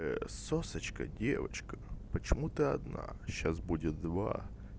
ээ сосочка девочка почему ты одна сейчас будет два